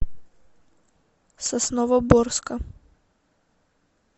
сосновоборска